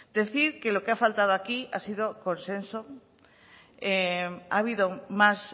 decir que lo que ha faltado aquí ha sido consenso ha habido más